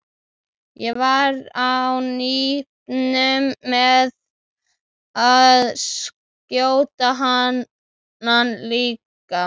Ég var á nippinu með að skjóta hana líka.